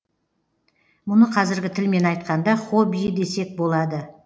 мұны қазіргі тілмен айтқанда хоббиі десек болады